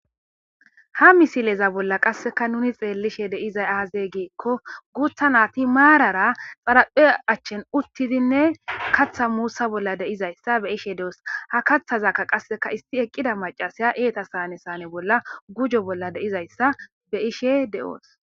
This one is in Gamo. Ha misileza bolla qasseka nuni xeellishe deizay aazeey geekko guutha nati maarara xaraphe achchen uttidinne katha muussa bolla deizayssa be ishe de'os ha kaththazakka qasseka isti eqqida macasiya eeta saane sane bolla gujo bolla deizayssa be ishe de'oos.